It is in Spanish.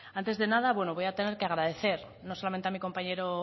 antes de nada voy a tener que agradecer no solamente a nuestro compañero